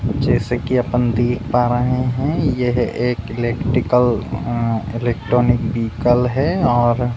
जैसे कि अपन देख पा रहे हैं यह एक इलेक्ट्रिकल अम इलेक्ट्रॉनिक व्हीकल है और --